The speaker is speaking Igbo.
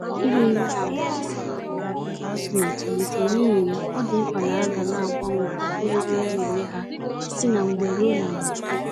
Iri nri na-abawanye ka azụ na-etolite, n'ihi ya, ọdị mkpa na aga naagbanwe ogo nri a-nenye ha si na mgbe ruo na mgbe